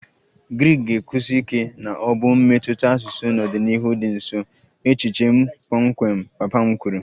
Greek ga-ekwusi ike na ọ bụ mmetụta asụsụ n'ọdịnihu dị nso, echiche m kpọmkwem papa m kwuru